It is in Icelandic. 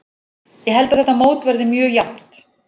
Ég held að þetta mót verði mjög jafnt.